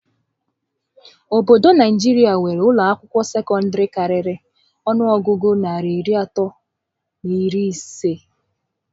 Obodo Naijiria nwéré ụlọ akwụkwọ sekọndịrị karịrị ọnụọgụgụ narị iri atọ na iri isé